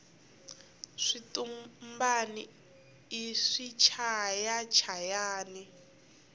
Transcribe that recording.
switumbani i swichaya chayani